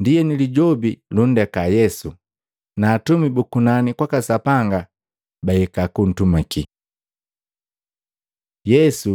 Ndienu Lijobi lundeka Yesu, na atumi bu kunani kwaka Sapanga bahika kuntumakii. Yesu